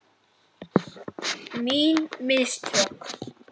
Mín mistök.